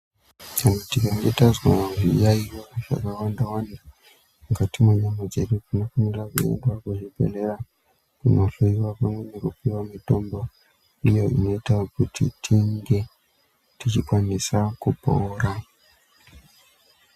Kana tikange tazwa zviyayiyo zvaka wanda wanda mukati mwe nyama dzedu tino fanira kuenda ku zvibhedhleya kuno hloyiwa pamwe neku puwa mitombo iyo inoita kuti tinge tichi kwanisa kupora.